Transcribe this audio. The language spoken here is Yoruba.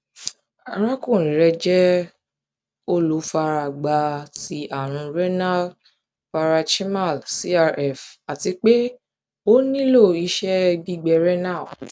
arakunrin rẹ jẹ olufaragba ti arun renal paranchymal crf ati pe o nilo iṣẹ gbigbe renal